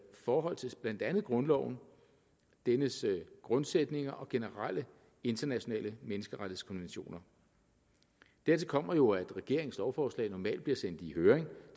forhold til blandt andet grundloven dennes grundsætninger og generelle internationale menneskerettighedskonventioner dertil kommer jo at regeringens lovforslag normalt bliver sendt i høring